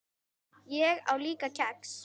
Ég á líka kex.